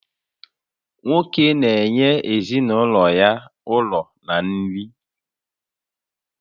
Nwoke na-enye ezinụlọ ya ụlọ na nri